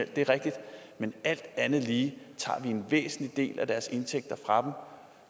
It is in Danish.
det er rigtigt men alt andet lige tager vi en væsentlig del af deres indtægter fra